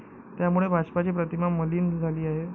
त्यामुळे भाजपची प्रतिमा मलीन झाली आहे.